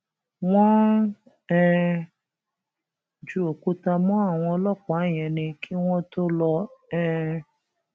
wọn ń um ju òkúta mọ àwọn ọlọpàá yẹn ni kí wọn tóó lọ um